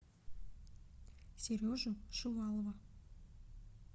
сережу шувалова